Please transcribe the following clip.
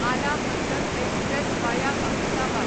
आला Hazrat express via Ahmedabad